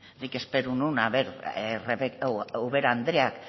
nik espero nuen a ver ubera andereak